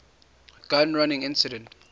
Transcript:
gun running incident